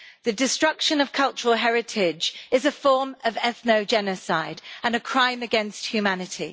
The destruction of cultural heritage is a form of ethno-genocide and a crime against humanity.